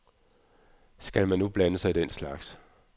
Skal man nu blande sig i den slags?